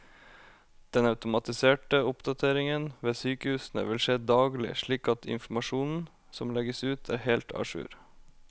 Den automatiserte oppdateringen ved sykehusene vil skje daglig, slik at informasjonen som legges ut er helt a jour.